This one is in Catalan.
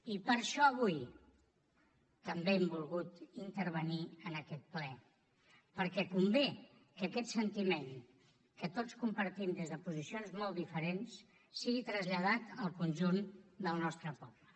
i per això avui també hem volgut intervenir en aquest ple perquè convé que aquest sentiment que tots compartim des de posicions molt diferents sigui traslladat al conjunt del nostre poble